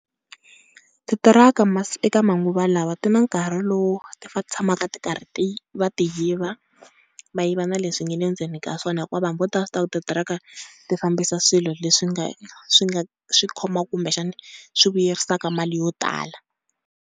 Titiraka eka manguva lawa ti na nkarhi lowu ti fane ti tshamaka ti karhi, va ti yiva, va yiva na leswi nga le ndzeni ka swona, hikuva vanhu vo tala va swi tiva ku titiraka ti fambisa swilo leswi nga, swi nga swi khomaku kumbexana swi vuyerisaka mali yo tala.